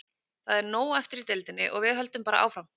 Það er nóg eftir í deildinni og við höldum bara áfram.